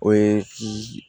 O ye